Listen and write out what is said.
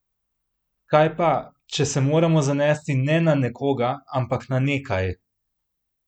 Kaj pa, če se moramo zanesti ne na nekoga, ampak na nekaj?